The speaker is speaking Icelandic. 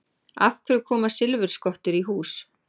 Af hverju koma silfurskottur í hús?